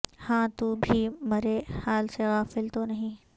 ہاں تو بھی مرے حال سے غافل تو نہیں ہے